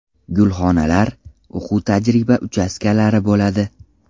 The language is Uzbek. Gulxonalar, o‘quv-tajriba uchastkalari bo‘ladi.